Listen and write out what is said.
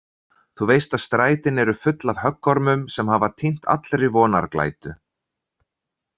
Þú veist að strætin eru full af höggormum sem hafa týnt allri vonarglætu.